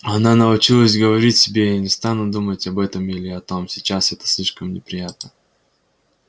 она научилась говорить себе я не стану думать об этом или о том сейчас это слишком неприятно